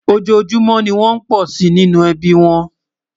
ọjọ júmò ní wón pò sí ní inú ẹbí wón